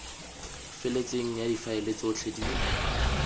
feletseng ya difaele tsotlhe di